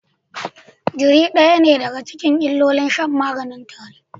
Jari ɗaya ne daga cikin illolin shan maganin tare